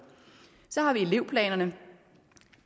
så har vi elevplanerne